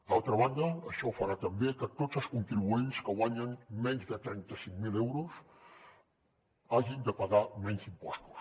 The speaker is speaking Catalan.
d’altra banda això farà també que tots els contribuents que guanyen menys de trenta cinc mil euros hagin de pagar menys impostos